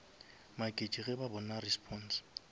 maketše ge ba bona response